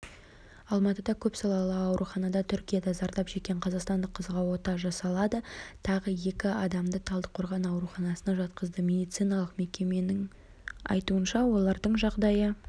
алматыда көпсалалы ауруханада түркияда зардап шеккен қазақстандық қызға ота жасалады тағы екі адамды талдықорған ауруханасына жатқызды медициналық мекеменің айтуынша олардың жағдайы